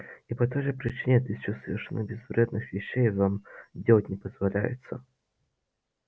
и по той же причине тысячу совершенно безвредных вещей вам делать не дозволяется